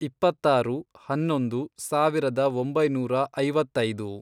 ಇಪ್ಪತ್ತಾರು, ಹನ್ನೊಂದು, ಸಾವಿರದ ಒಂಬೈನೂರ ಐವತ್ತೈದು